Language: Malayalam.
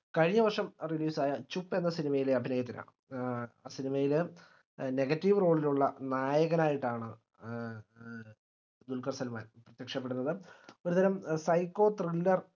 കഴിഞ്ഞവർഷം release ആയ ചുപ്പ് എന്ന cinema യിലെ അഭിനയത്തിനാണ് ഏർ cinema യിലെ negative role ലുള്ള നായകനായിട്ടാണ് ഏഹ് ആഹ് ദുൽഖർ സൽമാൻ പ്രത്യക്ഷപ്പെടുന്നത് ഒരുതരം pshyco thriller